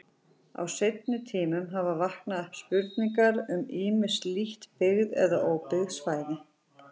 Á seinni tímum hafa vaknað upp spurningar um ýmis lítt byggð eða óbyggð svæði.